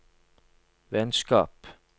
vennskap